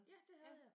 Ja det havde jeg